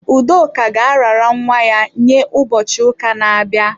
Udoka ga-arara nwa ya nye ụbọchị ụka na-abịa.